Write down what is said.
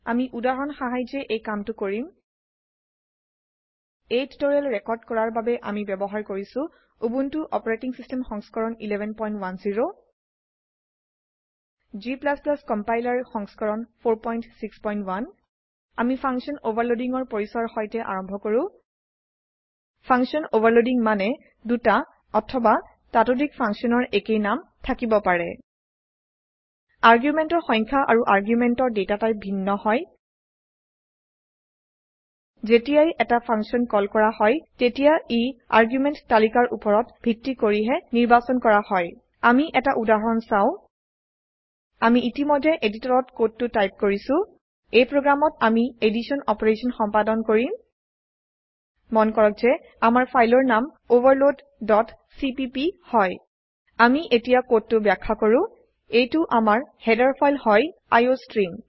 আমি উদাহৰণ সাহায্যে এই কামটো কৰিম এই টিউটোৰিয়েল ৰেকৰ্ড কৰাৰ বাবে আমি ব্যবহাৰ কৰিছো উবুন্টু অপাৰেটিং সিস্টেম সংস্কৰণ 1110 g compilerসংস্কৰণ 461 আমি ফাংচন অভাৰলোডিং ৰ পৰিচয়ৰ সৈতে আৰম্ভ কৰো ফাংচন অভাৰলোডিং মানেদুটা অথবা তাতোধিক functionsৰ একেই নাম থাকিব পাৰে argumentsৰসংখ্যা আৰুarguments ৰ data টাইপ ভিন্ন হয় যেতিয়াই এটা ফাংশন কল কৰা হয় তেতিয়া ই আৰ্গিউমেন্ট তালিকাৰ উপৰত ভিত্তি কৰিহে নিৰ্বাচন কৰা হয় আমি এটা উদাহৰণ চাও আমি ইতিমধ্যে এডিটৰত কোডটো টাইপ কৰিছো এইপ্ৰোগ্ৰামত আমি এদিছন অপাৰেশন সম্পাদন কৰিম মন কৰক যে আমাৰ ফাইলৰ নামoverloadcpp হয় আমি এতিয়া কোডটো ব্যাখ্যা কৰো এইটো আমাৰ হেডাৰ ফাইল হয় আইঅষ্ট্ৰিম